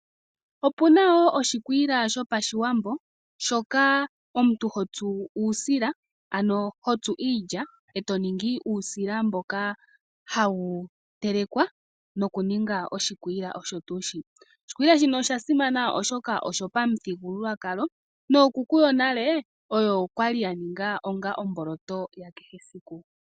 Opuna woo oshikwiila shopashiwambo shoka omuntu hotsu uusila ano hotsu iilya eto ningi uusila mboka hawu telekwa noku ninga oshikwiila .Oshikwiila shino osha simana oshoka osho pamuthigululwakalo nookuku yonale oyo kwali ya ninga omboloto yawo ya kehe esiku.